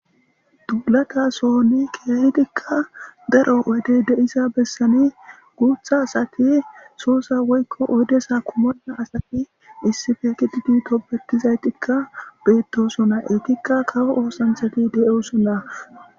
Duulata sohoni keehidikka garo wede de'isa bessani guutha asati soosa woykko oydesa kumona asati issife kididi topetizay tikka beettosona etikka kawo oosansati de'o sona.